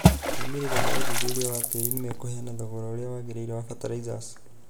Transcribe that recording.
Moimĩrĩro ma ũthuthuria wa tĩĩri nĩ mekũheana thogora ũrĩa wagĩrĩire wa fertilizers.